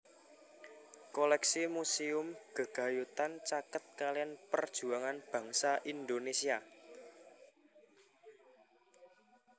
Koléksi muséum gegayutan caket kaliyan perjuangan bangsa Indonesia